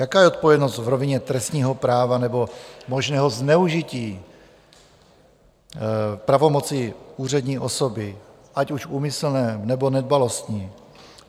Jaká je odpovědnost v rovině trestního práva nebo možného zneužití pravomoci úřední osoby, ať už úmyslné, nebo nedbalostní?